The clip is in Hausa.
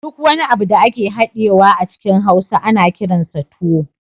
Duk wani abu da ake hadiyewa a cikin hausa ana kiransa tuwo